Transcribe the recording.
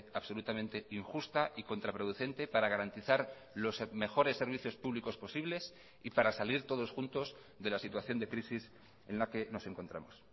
absolutamente injusta y contraproducente para garantizar los mejores servicios públicos posibles y para salir todos juntos de la situación de crisis en la que nos encontramos